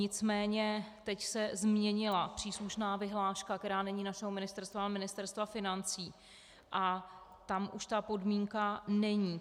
Nicméně teď se změnila příslušná vyhláška, která není našeho ministerstva, ale Ministerstva financí, a tam už ta podmínka není.